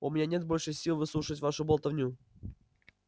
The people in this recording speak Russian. у меня нет больше сил выслушивать вашу болтовню